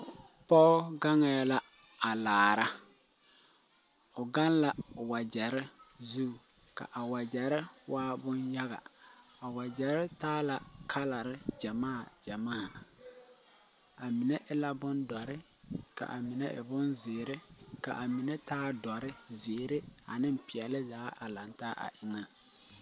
Poge gaŋeɛ la a laara. O gaŋ la wagyere zu. Ka a wagyere waa boŋ yaga. A wagyere taa la kalare gyamaa, gyamaa. A mene e la bon doure, ka a mene e boŋ ziire, ka a mene taa doure, ziire, ane piɛle zaa a laŋ taa a eŋa